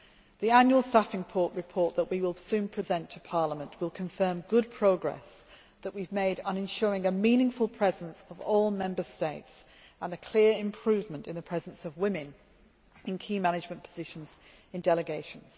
years. The annual staffing report that we will soon present to Parliament will confirm the good progress that we have made on ensuring a meaningful presence of all Member States and a clear improvement in the presence of women in key management positions in delegations.